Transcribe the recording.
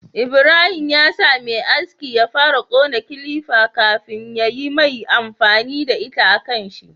Ibrahim ya sa Me aski ya fara kona kilifa kafin yayi mai amfani da ita a kanshi